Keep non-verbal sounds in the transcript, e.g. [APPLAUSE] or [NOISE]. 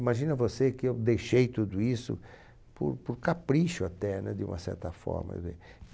Imagina você que eu deixei tudo isso por por capricho até, né? De uma certa forma, [UNINTELLIGIBLE]